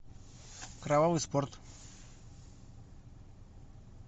кровавый спорт